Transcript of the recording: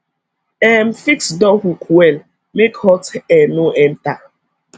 um fix door hook well make hot air no enter